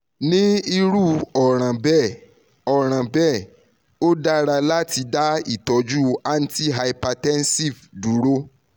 ni iru ọran bẹẹ ọran bẹẹ o dara lati da itọju antihypertensive duro